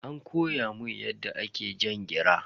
An koya mun yadda ake jan gira.